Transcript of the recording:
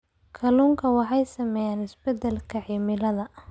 Kalluunka waxaa saameeya isbeddelka cimilada.